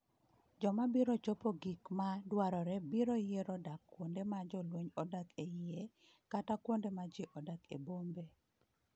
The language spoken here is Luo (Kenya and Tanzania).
Joma biro chopo gik ma dwarore biro yiero dak kuonde ma jolweny odak e iye kata kuonde ma ji odak e bombe.